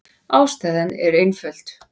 Ástæðan er einföld.